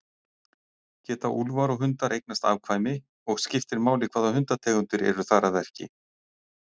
Geta úlfar og hundar eignast afkvæmi og skiptir máli hvaða hundategundir eru þar að verki?